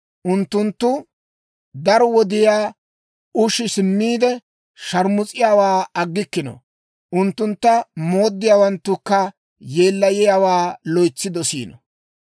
Unttunttu daro woyniyaa ushi simmiide, sharmus'iyaawaa aggikkino; unttuntta mooddiyaawanttukka yeellayiyaawaa loytsi dosiino.